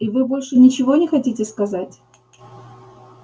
и вы больше ничего не хотите сказать